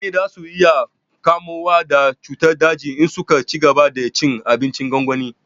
Mutane za su iya kamuwa da cutar daji in su ka cigaba da cin abincin gwangwani